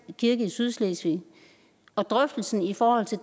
kirke i sydslesvig og drøftelsen i forhold til